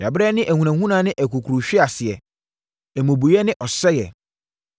Yɛabrɛ ne ahunahuna ne akukuruhweaseɛ, mmubuiɛ ne ɔsɛeɛ.”